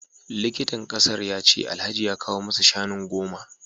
Likitan kasar ya ce Alhaji ya kawo masa shanu goma